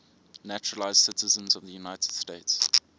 naturalized citizens of the united states